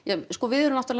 sko við erum